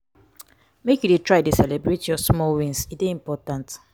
make you dey try dey celebrate your small wins e dey important.